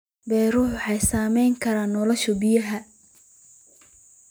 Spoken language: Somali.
Biyuhu waxay saamayn karaan nolosha biyaha.